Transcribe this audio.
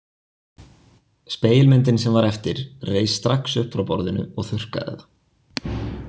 Spegilmyndin sem var eftir reis strax upp frá borðinu og þurrkaði það.